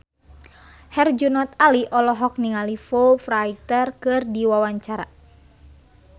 Herjunot Ali olohok ningali Foo Fighter keur diwawancara